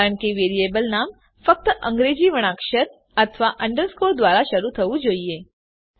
કારણ કે વેરીએબલ નામ ફક્ત અંગ્રેજી વર્ણાક્ષર અથવા અંડરસ્કોર દ્વારા શરુ થવું જોઈએ